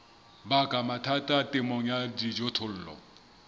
baka mathata temong ya dijothollo